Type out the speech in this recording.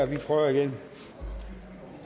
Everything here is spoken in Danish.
vi prøver igen